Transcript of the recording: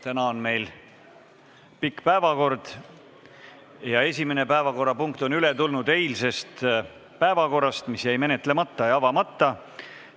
Täna on meil pikk päevakord ja esimene päevakorrapunkt on üle tulnud eilsest päevakorrast, mis jäi menetlemata ja avamata.